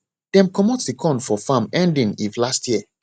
dem comot the corn for farm ending if last year